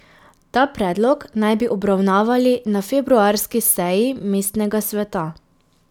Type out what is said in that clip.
Ta predlog naj bi obravnavali na februarski seji mestnega sveta.